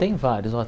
Tem várias.